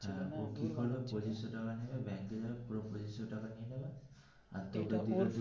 হ্যা ও কি করবে পঁচিশো টাকা নিয়ে ব্যাংকে যাবে পুরো পঁচিশো নিয়ে নেবে আর এটা বলবে.